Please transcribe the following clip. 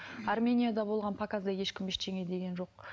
арменияда болған показда ешкім ештеңе деген жоқ